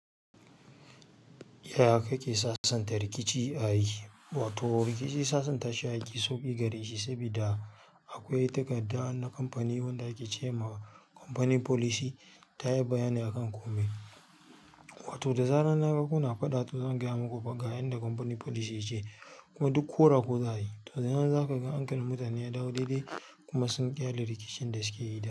Ya kake sassanta rikici a aiki? Wato rikici sassanta shi aiki sauƙi gare shi sabida akwai takarda na kamfani wanda akece ma kamfani policy ta yi bayani akan komai. Wato da zaran na ga kuna faɗa to zan gaya maku fa ga yanda kamfani policy yake, kuma duk kora ku za yi. To daga nan za ka ga hankalin mutane ya dawo daidai kuma sun ƙyale rikicin da suke yi da.